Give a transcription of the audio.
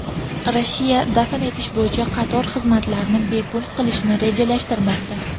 Rossiya dafn etish bo‘yicha qator xizmatlarni bepul qilishni rejalashtirmoqda.